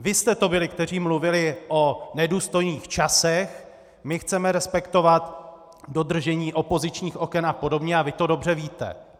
Vy jste to byli, kteří mluvili o nedůstojných časech, my chceme respektovat dodržení opozičních oken a podobně, a vy to dobře víte.